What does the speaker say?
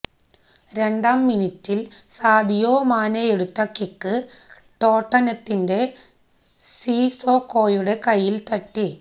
രണ്ടാം മിനിറ്റിൽ സാദിയോ മാനേയെടുത്ത കിക്ക് ടോട്ടനത്തിന്റെ സിസോക്കോയുടെ കൈയിൽ തട്ടി